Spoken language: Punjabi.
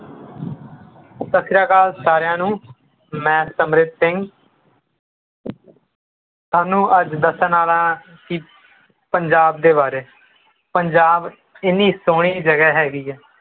ਸਤਿ ਸ੍ਰੀ ਅਕਾਲ ਸਾਰਿਆਂ ਨੂੰ ਮੈਂ ਸਮ੍ਰਿਤ ਸਿੰਘ ਤੁਹਾਨੂੰ ਅੱਜ ਦੱਸਣ ਆਲਾ ਹਾਂ ਕਿ ਪੰਜਾਬ ਦੇ ਬਾਰੇ ਪੰਜਾਬ ਇੰਨੀ ਸੁਹਣੀ ਜਗਹ ਹੈਗੀ ਹੈ